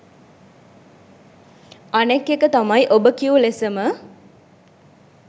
අනෙක් එක තමයි ඔබ කිව් ලෙසම